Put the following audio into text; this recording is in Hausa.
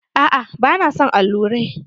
A'a ba na son allurai.